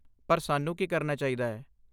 ਪਰ, ਸਾਨੂੰ ਕੀ ਕਰਨਾ ਚਾਹੀਦਾ ਹੈ?